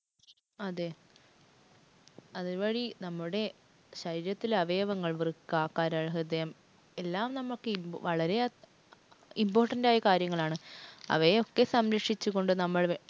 അതേ. അത് വഴി നമ്മുടെ ശരീരത്തിലെ അവയവങ്ങള്‍ വൃക്ക, കരള്‍, ഹൃദയം എല്ലാം നമുക്ക് വളരെ important ആയിട്ടുള്ള കാര്യമാണ്. അവയൊക്കെ സംരക്ഷിച്ചുകൊണ്ട് നമ്മള്‍